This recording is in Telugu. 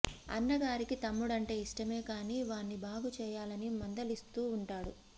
అన్నగారికి తమ్ముడంటే యిష్టమే కానీ వాణ్ని బాగు చేయాలని మందలిస్తూ వుంటాడు